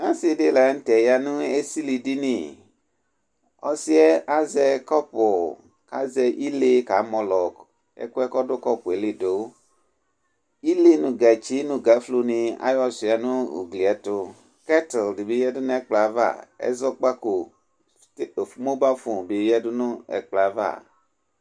Ɔsɩ ɖɩ la nʋtɛ ƴa nʋ esiliɖini; ɔsɩɛ azɛ ƙɔpʋ ƙ'azɛ ile ƙamɔlɔ ɛƙʋɛ ƙɔɖʋ ƙɔpʋɛ li ɖʋ Ile nʋ gatsi nʋ gaƒlo nɩ aƴɔ sɩua nʋ ugli ɛtʋƘɛt ɖɩ bɩ ƴǝdu n' ɛƙplɔ avaƐzɔƙpaƙo smɔbaƒon bɩ ƴǝɖu nʋ ɛƙplɔ ava